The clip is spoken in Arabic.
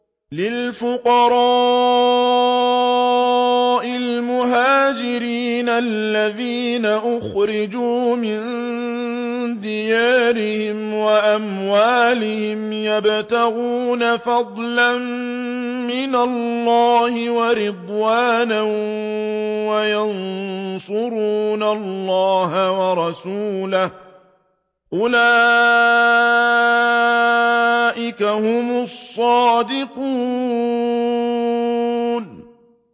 لِلْفُقَرَاءِ الْمُهَاجِرِينَ الَّذِينَ أُخْرِجُوا مِن دِيَارِهِمْ وَأَمْوَالِهِمْ يَبْتَغُونَ فَضْلًا مِّنَ اللَّهِ وَرِضْوَانًا وَيَنصُرُونَ اللَّهَ وَرَسُولَهُ ۚ أُولَٰئِكَ هُمُ الصَّادِقُونَ